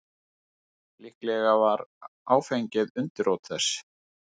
Líklega var áfengið undirrót þess.